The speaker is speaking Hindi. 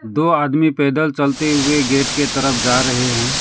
दो आदमी पैदल चलते हुए गेट के तरफ जा रहे हैं।